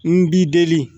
N b'i deli